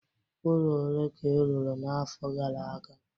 ụlọ ole ka ị rụrụ n'afọ gara aga?